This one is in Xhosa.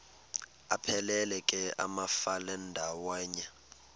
aphelela ke amafelandawonye